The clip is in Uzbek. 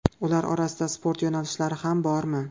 Ular orasida sport yo‘nalishlari ham bormi?